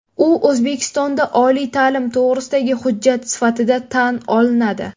U O‘zbekistonda oliy ta’lim to‘g‘risidagi hujjat sifatida tan olinadi.